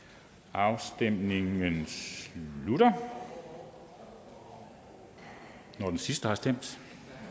afstemningen slutter når den sidste har stemt